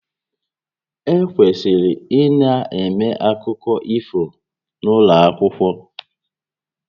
E kwesịrị ịna-eme akụkọ ifo n'ụlọ akwụkwọ